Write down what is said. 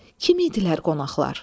Kim idilər qonaqlar?